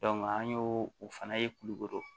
an y'o o fana ye kulukoro